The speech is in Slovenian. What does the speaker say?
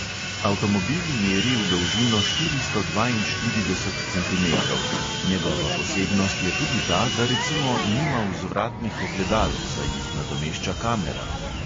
Avtomobil meri v dolžino štiristo dvainštirideset centimetrov, njegova posebnost je tudi ta, da recimo nima vzvratnih ogledal, saj jih nadomešča kamera.